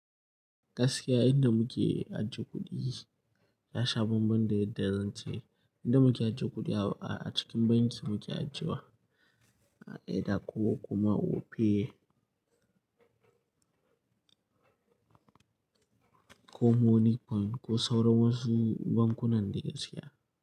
Gaskiya inda muke ajiye kuɗi ya sha bambam da yadda zan ce. Inda muke ajiye kuɗi a cikin banki muke ajiyewa, a Edda ko kuma Opay ko Moniepoint ko sauran wasu bankunan da gaskiya.